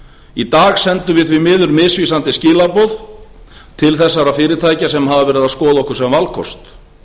í dag sendum við því miður misvísandi skilaboð til þessara fyrirtækja sem hafa verið að skoða okkur sem valkost